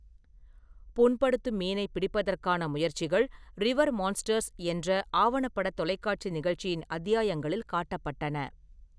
புண்படுத்தும் மீனைப் பிடிப்பதற்கான முயற்சிகள் ரிவர் மான்ஸ்டர்ஸ் என்ற ஆவணப்பட தொலைக்காட்சி நிகழ்ச்சியின் அத்தியாயங்களில் காட்டப்பட்டன.